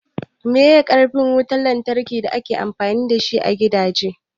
Meye karfin wutan lantraki da ake amfani dashi a gidaje?